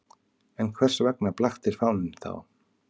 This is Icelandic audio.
En hvers vegna blaktir fáninn þá?